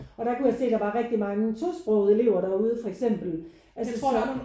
Og der kunne jeg se der var rigtig mange tosprogede elever derude for eksempel altså så